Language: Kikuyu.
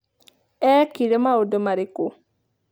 Eekire maũndũ marĩkũ?'